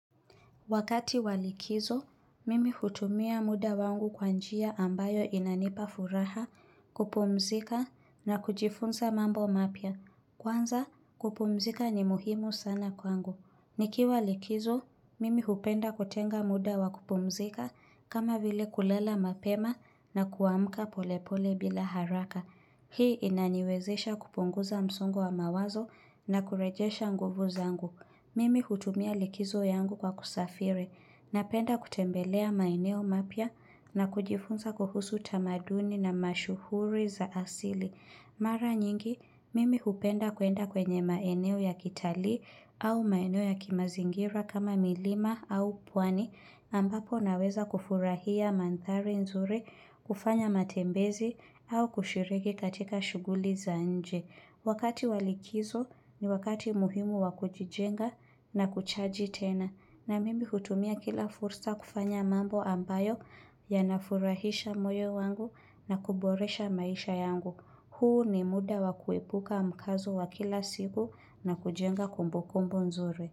Wakati walikizo, mimi hutumia muda wangu kwanjia ambayo inanipa furaha, kupumzika na kujifunza mambo mapya. Kwanza, kupumzika ni muhimu sana kwangu. Nikiwa likizo, mimi hupenda kutenga muda wakupumzika kama vile kulala mapema na kuamka polepole bila haraka. Hii inaniwezesha kupunguza msongo wa mawazo na kurejesha nguvu zangu. Mimi hutumia likizo yangu kwa kusafiri na penda kutembelea maeneo mapya na kujifunza kuhusu tamaduni na mashuhuri za asili. Mara nyingi, mimi hupenda kuenda kwenye maeneo ya kitalii au maeneo ya kimazingira kama milima au pwani ambapo naweza kufurahia mandhari nzuri, kufanya matembezi au kushiriki katika shuguli za nje. Wakati walikizo ni wakati muhimu wakujijenga na kuchaji tena. Na mimi hutumia kila fursa kufanya mambo ambayo ya nafurahisha moyo wangu na kuboresha maisha yangu. Huu ni muda wakuepuka mkazo wa kila siku na kujenga kumbukumbu nzuri.